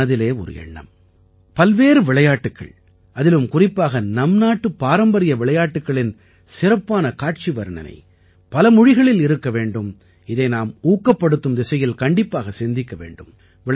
என் மனதிலே ஒரு எண்ணம் பல்வேறு விளையாட்டுக்கள் அதிலும் குறிப்பாக நம் நாட்டு பாரம்பரிய விளையாட்டுக்களின் சிறப்பான காட்சி வர்ணனை பல மொழிகளில் இருக்க வேண்டும் இதை நாம் ஊக்கப்படுத்தும் திசையில் கண்டிப்பாக சிந்திக்க வேண்டும்